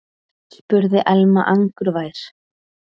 spurði Elma angurvær.